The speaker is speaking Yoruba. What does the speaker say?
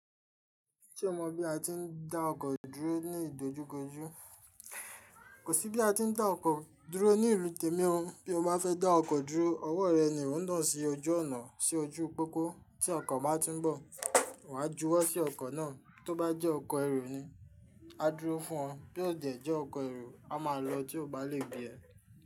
Ṣé o mọ̀ bí a ti ń dá ọkọ̀ dúró ní ìdojúkojú? Kò sí bí a tí ń dá ọkọ̀ dúró ní ìlú tèmi ó, bí o bá fẹ́ dá ọkọ̀ dúró, ọwọ́ rẹ ni ò ńaa sí ojú ọ̀nà sí ojú pópó tí ọkọ̀ bá tin ń bọ̀, wà á júwọ́ sí ọkọ̀ náà, tó bá jẹ́ ọkọ̀ èru ni, a dúró fún ọ, bí ó jẹ jẹ́ ọkọ̀ èru, a máa lọ tí ó bá le gbé ẹ.